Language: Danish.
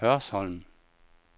Hørsholm